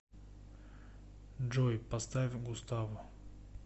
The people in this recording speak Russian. джой поставь густаво